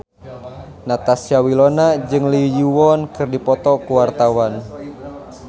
Natasha Wilona jeung Lee Yo Won keur dipoto ku wartawan